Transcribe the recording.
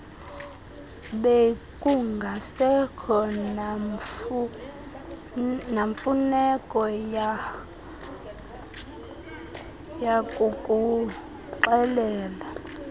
bekungasekho namfuneko yakukuxelela